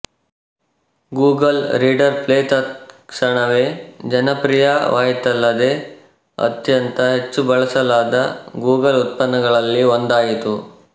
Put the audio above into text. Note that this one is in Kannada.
ಗೂಗಲ್ ರೀಡರ್ ಪ್ಲೇ ತತ್ ಕ್ಷಣವೇ ಜನಪ್ರಿಯವಾಯಿತಲ್ಲದೇ ಅತ್ಯಂತ ಹೆಚ್ಚು ಬಳಸಲಾದ ಗೂಗಲ್ ಉತ್ಪನ್ನಗಳಲ್ಲಿ ಒಂದಾಯಿತು